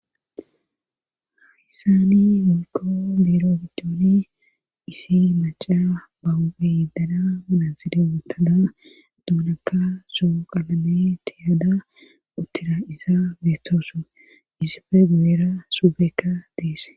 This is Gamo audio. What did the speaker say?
Hayssani miko biro gidooni isi maca bauedana minansida otada duunaka soo qalame tiyaada uttira iza beetooso isifegbeera supeka deese.